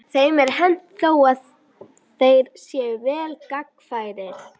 Þeim er hent þó að þeir séu vel gangfærir.